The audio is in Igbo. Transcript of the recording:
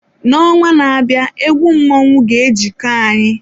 N'ọnwa na-abịa egwu mmọnwụ ga-ejiko anyị.